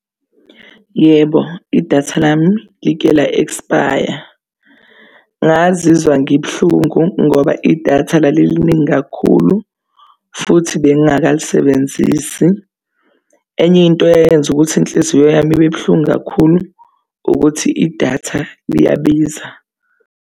Yebo, idatha lami like la-ekspaya. Ngazizwa ngibuhlungu ngoba idatha laliliningi kakhulu futhi bengingakalisebenzisi. Enye into eyayenza ukuthi inhliziyo yami ibe buhlungu kakhulu ukuthi idatha liyabiza.